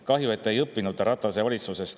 Kahju, et te ei õppinud Ratase valitsusest.